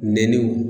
Nɛniw